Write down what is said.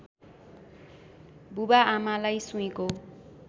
बुबाआमालाई सुईँको